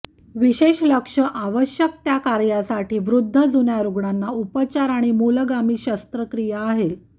विशेष लक्ष आवश्यक त्या कार्यासाठी वृद्ध जुन्या रुग्णांना उपचार आणि मूलगामी शस्त्रक्रिया आहे